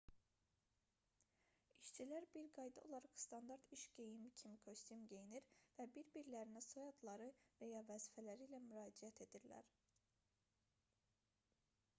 i̇şçilər bir qayda olaraq standart iş geyimi kimi kostyum geyinir və bir-birlərinə soyadları və ya vəzifələri ilə müraciət edirlər